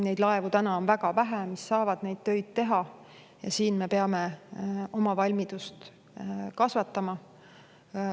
Neid laevu, mis saavad neid töid teha, on väga vähe ja me peame oma valmidust kasvatama.